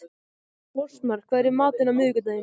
Fossmar, hvað er í matinn á miðvikudaginn?